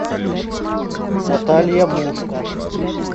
наталья мушта